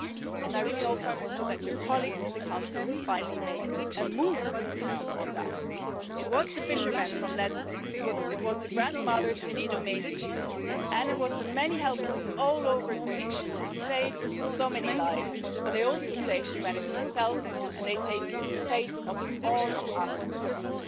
I really hope, Prime Minister, that your colleagues in the Council will finally make a move on that. It was the fishermen from Lesbos, it was the grandmothers in Idomeni and it was the many helpers all over Greece who saved so many lives, but they also saved humanity itself and they saved the face of all of us in Europe.